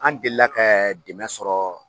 An delila kɛ dɛmɛ sɔrɔ